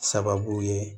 Sababu ye